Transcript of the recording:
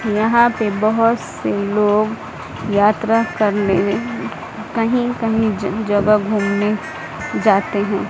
यहां पे बहुत से लोग यात्रा करने में कही कहीं जगह घूमने जाते हैं।